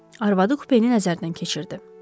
Arvadı kupeni nəzərdən keçirdi.